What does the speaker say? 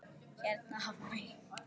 Hérna Hafmey.